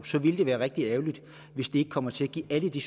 så ville det være rigtig ærgerligt hvis det ikke kommer til at give alle de